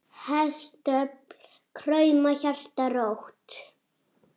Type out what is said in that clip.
Hestöfl krauma, hjarta rótt.